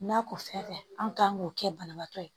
N'a ko fɛn tɛ an kan k'o kɛ banabaatɔ ye